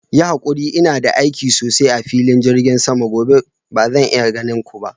Yi hakuri, ina da aiki sosai a filin jirgin sama gobe; bazan iya ganin ku ba.